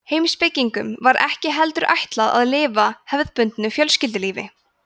heimspekingunum var ekki heldur ætlað að lifa hefðbundnu fjölskyldulífi